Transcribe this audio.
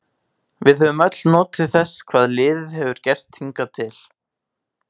Við höfum öll notið þess hvað liðið hefur gert hingað til.